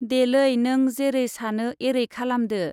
देलै नों जेरै सानो एरै खालामदो।